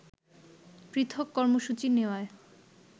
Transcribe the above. পৃথক কর্মসূচি নেওয়ায়